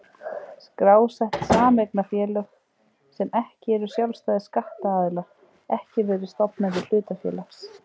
skrásett sameignarfélög, sem ekki eru sjálfstæðir skattaðilar, ekki verið stofnendur hlutafélags.